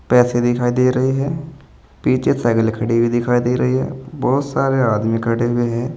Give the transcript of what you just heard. पैसे दिखाई दे रही है पीछे साइकिल खड़ी हुई दिखाई दे रही है बहुत सारे आदमी खड़े हुए हैं।